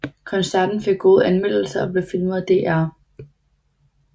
Koncerten fik gode anmeldelser og blev filmet af DR